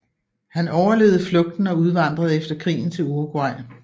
Han overlevede flugten og udvandrede efter krigen til Uruguay